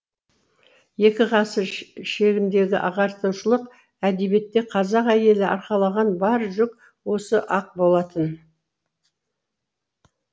екі ғасыр шегіндегі ағартушылық әдебиетте қазақ әйелі арқалаған бар жүк осы ақ болатын